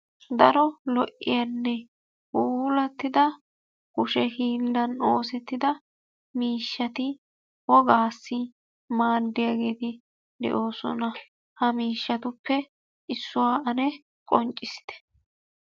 Daro lo"iyaanne puulattida kushe hiillan ossettida miishshati wogaassi maaddiyageeti de'oosona. Ha miishshatuppe issuwa ane qonccissite.